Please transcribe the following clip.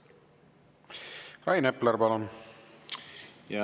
Rain Epler, palun!